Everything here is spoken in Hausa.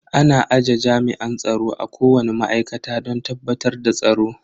Ana aje jami'an tsaro a kowani ma'aikata don tabbatar da tsaro.